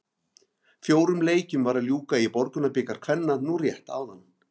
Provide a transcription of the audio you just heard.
Fjórum leikjum var að ljúka í Borgunarbikar kvenna nú rétt áðan.